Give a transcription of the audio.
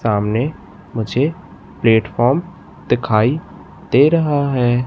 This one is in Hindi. सामने मुझे प्लेटफार्म दिखाई दे रहा है।